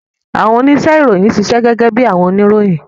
Awọn onise-iroyin ṣiṣẹ gege bi awọn oniroyin.